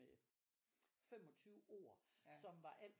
Med 25 ord som var alt